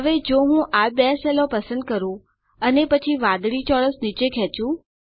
હવે જો હું આ બે સેલો પસંદ કરું અને પછી વાદળી ચોરસ નીચે ખેચું